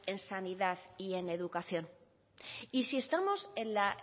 en sanidad y educación y si estamos en la